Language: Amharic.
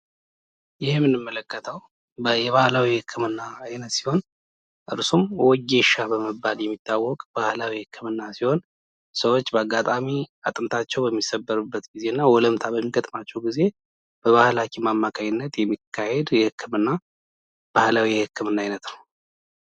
ይህ የምንመለከተው የባህላዊ የህክምና አይነት ሲሆን እሱም ወጌሻ በመባል የሚታወቅ ባህላዊ ህክምና ሲሆን ሰዎች ባጋጣሚ አጥንታቸው በሚሰበርበት ጊዜና ወለምታ በሚገጥማቸው ጊዜ በባህል ሀኪም አማካኝነት የሚካሄድ ባህላዊ የህክምና አይነት ነው።